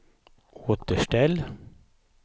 återställ